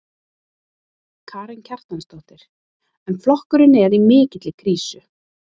Karen Kjartansdóttir: En flokkurinn er í mikilli krísu?